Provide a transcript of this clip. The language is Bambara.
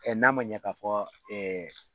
Ɛ n'a ma ɲɛ k'a fɔ ɛɛ